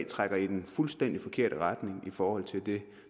trækker i den fuldstændig forkerte retning i forhold til det